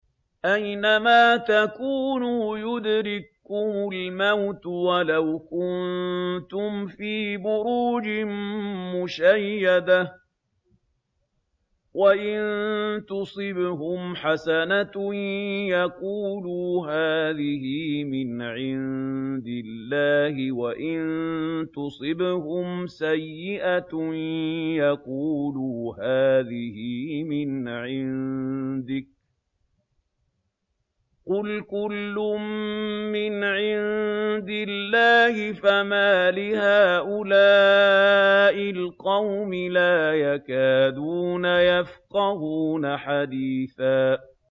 أَيْنَمَا تَكُونُوا يُدْرِككُّمُ الْمَوْتُ وَلَوْ كُنتُمْ فِي بُرُوجٍ مُّشَيَّدَةٍ ۗ وَإِن تُصِبْهُمْ حَسَنَةٌ يَقُولُوا هَٰذِهِ مِنْ عِندِ اللَّهِ ۖ وَإِن تُصِبْهُمْ سَيِّئَةٌ يَقُولُوا هَٰذِهِ مِنْ عِندِكَ ۚ قُلْ كُلٌّ مِّنْ عِندِ اللَّهِ ۖ فَمَالِ هَٰؤُلَاءِ الْقَوْمِ لَا يَكَادُونَ يَفْقَهُونَ حَدِيثًا